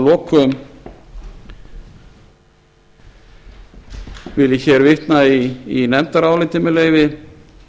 að lokum vil ég vitna í nefndarálitið með leyfi